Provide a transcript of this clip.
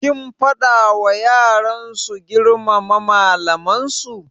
Kin faɗa wa yaran su girmama malaman su?